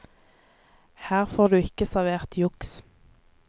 Her får du ikke servert juks.